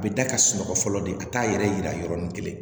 A bɛ da ka sunɔgɔ fɔlɔ de ka taa yɛrɛ yira yɔrɔnin kelen